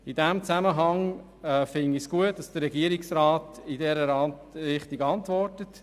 In diesem Zusammenhang finde ich es gut, dass der Regierungsrat in diese Richtung antwortet.